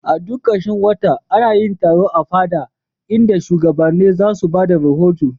A duk karshen wata ana yin taro a fada, inda shugabanni za su ba da rahoto.